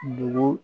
Bugu